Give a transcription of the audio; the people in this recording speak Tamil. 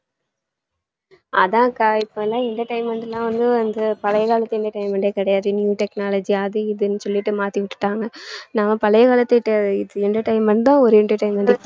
அதான் அக்கா இப்பல்லாம் entertainment லாம் வந்து எல்லாம் வந்து பழைய காலத்து entertainment டே கிடையாது new technology அது இதுன்னு சொல்லிட்டு மாத்தி வச்சிட்டாங்க நம்ம பழைய காலத்து டெ~ entertainment தான் ஒரு entertainment